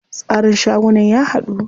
Tsarin shagunan ya haɗu.